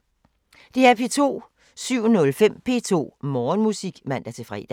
DR P2